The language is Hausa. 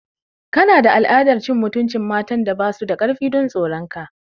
Kana da al'adar cin mutuncin matan da ba su da karfi don tsoron ka.